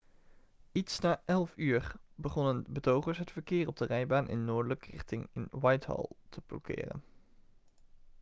iets na 11.00 uur begonnen betogers het verkeer op de rijbaan in noordelijke richting in whitehall te blokkeren